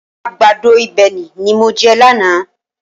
Àgbàdo ìbéèni ni mo jẹ lánàá